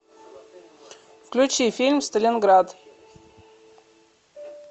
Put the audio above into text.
включи фильм сталинград